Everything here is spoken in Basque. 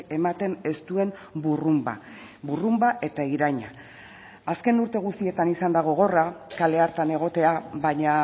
ematen ez duen burrunba burrunba eta iraina azken urte guztietan izan da gogorra kale hartan egotea baina